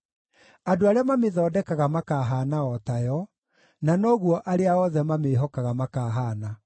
Andũ arĩa mamĩthondekaga makaahaana o tayo, na noguo arĩa othe mamĩĩhokaga makaahaana.